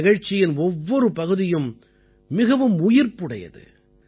இந்த நிகழ்ச்சியின் ஒவ்வொரு பகுதியும் மிகவும் உயிர்ப்புடையது